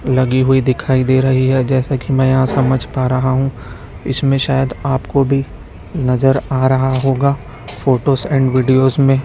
लगी हुई दिखाई दे रही है जैसा कि मैं यहां समझ पा रहा हूं इसमे शयद आपको भी नजर आ रहा होगा फोटोस एंड विडियोस मे--